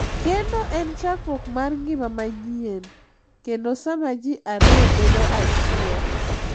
Kendo en chakruok mar ngima manyien kendo sama ji ariyo bedo achiel.